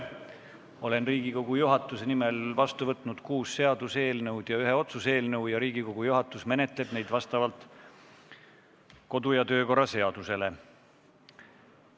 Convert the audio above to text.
Olen Riigikogu juhatuse nimel vastu võtnud kuus seaduseelnõu ja ühe otsuse eelnõu ja Riigikogu juhatus menetleb neid vastavalt kodu- ja töökorra seadusele.